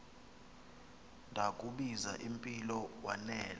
ndakubuz impilo wanela